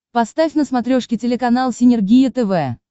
поставь на смотрешке телеканал синергия тв